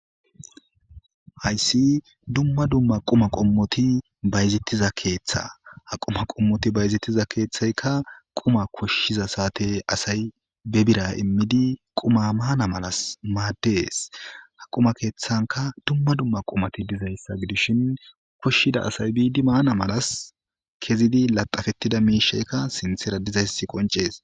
Hayssi dumma dumma quma qommothi bayzeththiza keeththaa; ha quma qommothi bayzeththiza keeththaykka qumaa koshshiza saathe asay be biraa immidi qumaa maana malas maaddes; ha quma keeththankka dumma dumma qumathi dizayssa gidishin koshsida asay biidi maana malas kezidi laxxafeththida miishsheykka sinththeera dizeyssi qonccees.